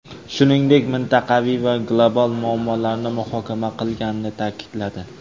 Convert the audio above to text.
shuningdek mintaqaviy va global muammolarni muhokama qilganini ta’kidladi.